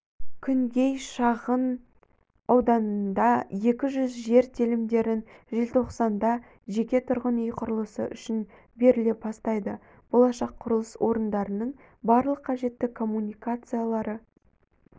күнгей шағын ауданында екі жүз жер телімдерін желтоқсанда жеке тұрғын үй құрылысы үшін беріле бастайды болашақ құрылыс орындарының барлық қажетті коммуникациялары